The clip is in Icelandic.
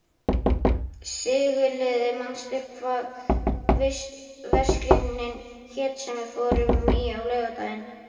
Sigurliði, manstu hvað verslunin hét sem við fórum í á laugardaginn?